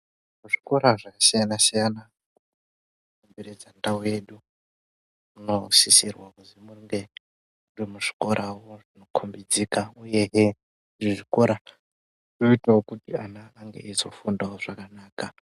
Muzvikora zvakasiyana-siyana ,zvakakomberedza ndau yedu ,munosisirwa kuzi munge, muri muzvikorawo munokhombidzika, uyehe vezvikora voitawo kuti ana ange eizofundawo zvakanaka.